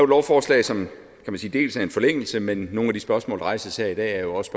lovforslag som er en forlængelse men nogle af de spørgsmål der rejses her i dag er også